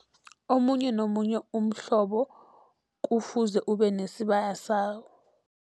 Omunye nomunye umhlobo kufuze ube nesibaya sawo.